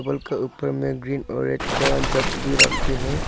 के ऊपर में ग्रीन और रेड का जग भी रखे हैं।